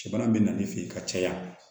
Cɛ bana bɛ na ne fɛ yen ka caya